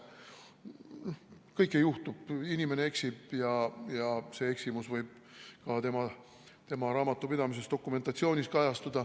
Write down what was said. Kõike juhtub, inimene eksib ja see eksimus võib kajastuda ka tema raamatupidamise dokumentatsioonis.